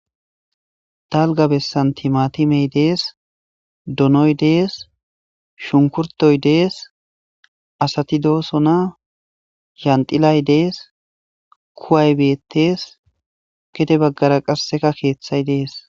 dalga bessan timatimey dees donoy dees shunkurtoy dees asati doosona yandilay dees kuway beetees kete baggara qasseka keeththay dees